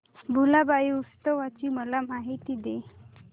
भुलाबाई उत्सवाची मला माहिती दे